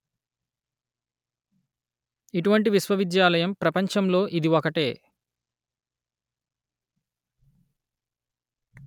ఇటువంటి విశ్వవిద్యాలయం ప్రపంచంలో ఇది ఒకటే